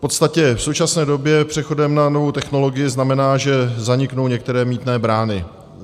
V podstatě v současné době přechod na novou technologii znamená, že zaniknou některé mýtné brány.